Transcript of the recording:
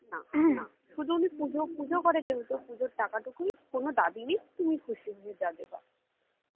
না না শুধু উনি পুজো পুজো করে যেহেতু পুজোর টাকা টুকুই কোনো দাবি নেই তুমি খুশি হয়ে যা দেবা